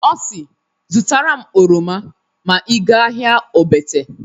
Ọ si "Zụtara m oroma ma ị ga ahịa Ogbete."